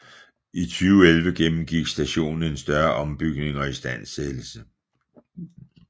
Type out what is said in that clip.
I 2011 gennemgik stationen en større ombygning og istandsættelse